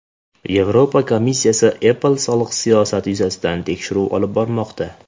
Yevropa komissiyasi Apple soliq siyosati yuzasidan tekshiruv olib bormoqda.